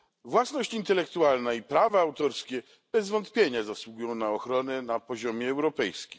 Własność intelektualna i prawa autorskie bez wątpienia zasługują na ochronę na poziomie europejskim.